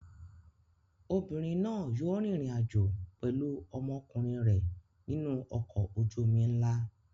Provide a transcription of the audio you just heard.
Obìnrin náà yóò rìnrìn-àjò pẹ̀lú ọmọkùnrin rẹ̀ nínú ọkọ̀ ojú-omi ńlá.